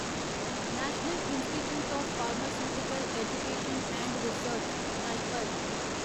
national institute of pharmaceutical education and research NIPER